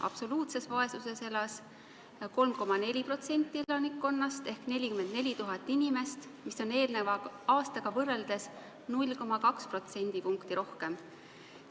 Absoluutses vaesuses elas 3,4% elanikkonnast ehk 44 000 inimest, mis oli eelmise aastaga võrreldes 0,2% võrra rohkem.